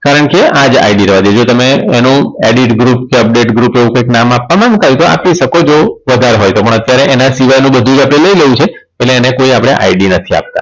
કારણ છે આ જ id રવા દેજો તમે એનું Edit Group કે Update Group એવું કઈક નામ આપવામાં મુકાઈ તો આપી શકો છો વધારે હોય તો પણ અત્યારે એના સિવાયનું બધું જ આપણે લઇ લેવું છે એટલે એને કોઈ આપણે id નથી આપતા